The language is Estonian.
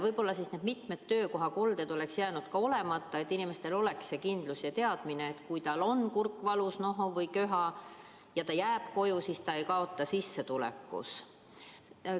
Võib-olla need mitmed töökohakolded oleks jäänud olemata, kui inimestel oleks olnud kindel teadmine, et kui tal on kurk valus, nohu või köha ja ta jääb koju, siis ta ei kaota sissetulekus.